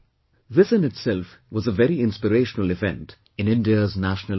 This in itself was a very inspirational event in India's national life